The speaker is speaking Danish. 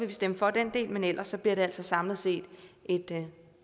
vi stemme for den del men ellers bliver det samlet set et